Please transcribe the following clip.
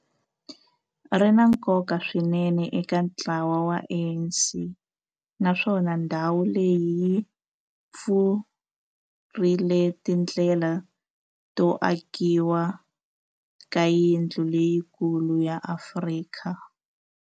Ri na nkoka swinene eka ntlawa wa ANC, naswona ndhawu leyi yi pfurile tindlela to akiwa ka yindlu leyikulu ya Afrika.